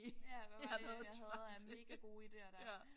Ja hvad var det jeg havde af megagode idéer der